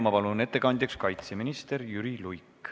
Ma palun ettekandjaks kaitseminister Jüri Luige.